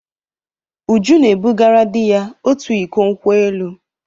Uju na-ebugara di ya otu iko nkwo elụ.